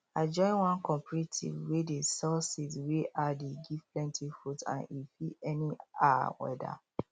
i join one cooperative wey dey sell seeds wey um dey give plenty fruits and e fit any um weather